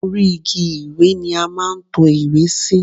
Orí igi ìwé ni a máa ń to ìwé sí.